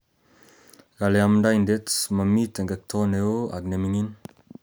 Kole omdoidet momi tekekto neo ak nemikin.